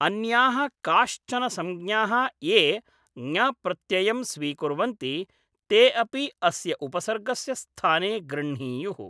अन्याः काश्चन संज्ञाः ये ङप्रत्ययं स्वीकुर्वन्ति ते अपि अस्य उपसर्गस्य स्थाने गृह्णीयुः ।